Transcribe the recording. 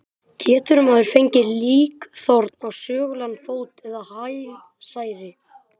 Getur maður fengið líkþorn á sögulegan fót eða hælsæri?